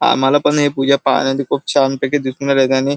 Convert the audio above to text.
आम्हाला पण हे पूजा पाहण्या चे खूप छान पैकी दिसून राहिले आणि--